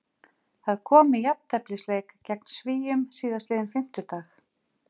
Það kom í jafnteflisleik gegn Svíum síðastliðinn fimmtudag.